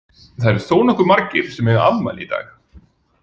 Það eru þónokkuð margir sem að eiga afmæli í dag.